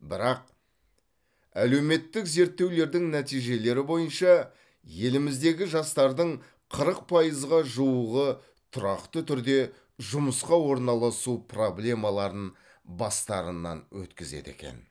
бірақ әлеуметтік зерттеулердің нәтижелері бойынша еліміздегі жастардың қырық пайызға жуығы тұрақты түрде жұмысқа орналасу проблемаларын бастарынан өткізеді екен